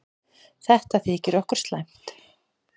Þetta þykir okkur slæmt.